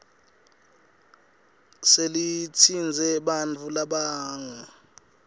selitsintse bantfu labangu